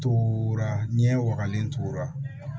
Tora ɲɛ wagalen tora